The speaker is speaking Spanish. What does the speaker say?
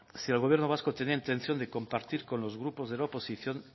si el gobierno vasco tenía intención de compartir con los grupos de la oposición